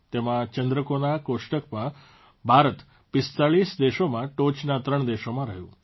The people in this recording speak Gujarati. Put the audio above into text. તેમાં ચંદ્રકોના કોષ્ટકમાં ભારત ૪૫ દેશોમાં ટોચના 3 દેશોમાં રહ્યું